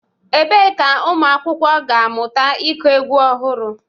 Ebee ka ụmụ akwụkwọ ga-amụta ịkụ egwu ọhụrụ?